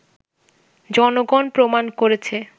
জনগণ প্রমাণ করেছে